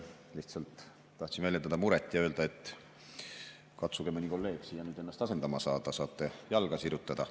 Lihtsalt tahtsin väljendada muret ja öelda, et katsuge mõni kolleeg ennast asendama saada, saate jalga sirutada.